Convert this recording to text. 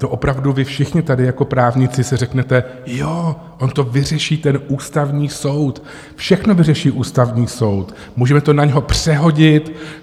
To opravdu vy všichni tady jako právníci si řeknete, jo, on to vyřeší ten Ústavní soud, všechno vyřeší Ústavní soud, můžeme to na něho přehodit.